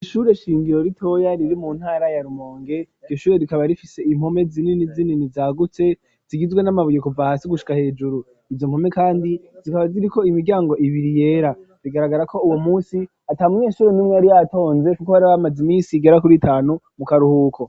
Ishure shingiro ritoya riri mu ntara ya rumonge, iryo shure rikaba rifise impome zinini zinini zagutse zigizwe n'amabuye kuva hasi gushika hejuru, izo mpome kandi zikaba ziri ko imiryango ibiri yera bigaragara ko uwo munsi ata munyeshure numwe yari yatonze kuko hari abamazi misi igera kuri itanu mu karuhuko.